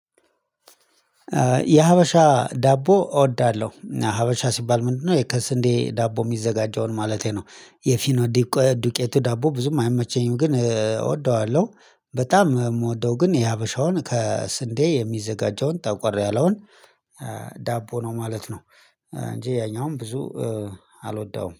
የሀበሻ ዳቦ እወዳለሁ ሀበሻ ሲባል ምንድነው? ይህ ከስንዴ ዳቦ የሚዘጋጀውን ማለቴ ነው የፊኖ ዱቄት ዳቦ ብዙም አይመቸኝም ግን እወደዋለሁ። በጣም የምወደው ግን የሀበሻውን ከስንዴ የሚዘጋጀውን ጠቆር ያለውን ዳቦ ነው ማለት ነው። እንጂ ያኛውም ብዙ አልወደውም